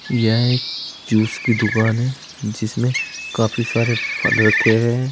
यह एक जूस की दुकान है जिसमें काफी सारे फल रखे हुए हैं।